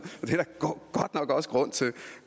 og også grund til